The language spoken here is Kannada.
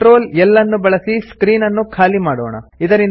ಕಂಟ್ರೋಲ್ L ಅನ್ನು ಬಳಸಿ ಸ್ಕ್ರೀನ್ ಅನ್ನು ಖಾಲಿ ಮಾಡೋಣ